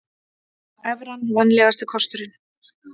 Evran vænlegasti kosturinn